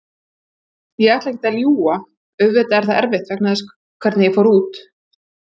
Ég ætla ekkert að ljúga, auðvitað er það erfitt vegna þess hvernig ég fór út.